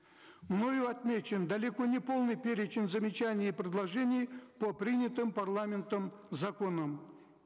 мною отмечен далеко не полный перечень замечаний и предложений по принятым парламентом законам